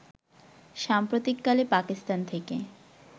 সাম্প্রতিককালে পাকিস্তান থেকে